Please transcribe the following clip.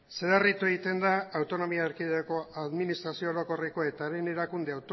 zedarritu egiten da autonomia erkidego administrazio orokorreko eta haren erakunde